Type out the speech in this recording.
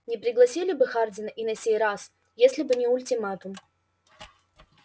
не пригласили бы хардина и на сей раз если бы не ультиматум